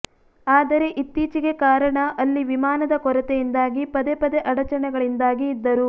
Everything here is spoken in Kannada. ಆದರೆ ಇತ್ತೀಚೆಗೆ ಕಾರಣ ಅಲ್ಲಿ ವಿಮಾನದ ಕೊರತೆಯಿಂದಾಗಿ ಪದೇ ಪದೇ ಅಡಚಣೆಗಳಿಂದಾಗಿ ಇದ್ದರು